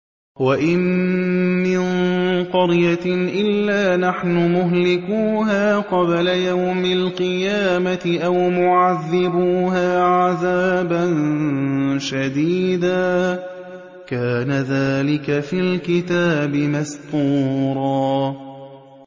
وَإِن مِّن قَرْيَةٍ إِلَّا نَحْنُ مُهْلِكُوهَا قَبْلَ يَوْمِ الْقِيَامَةِ أَوْ مُعَذِّبُوهَا عَذَابًا شَدِيدًا ۚ كَانَ ذَٰلِكَ فِي الْكِتَابِ مَسْطُورًا